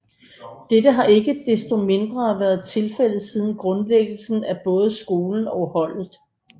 Dette har ikke desto mindre været tilfældet siden grundlæggelsen af både skolen og holdet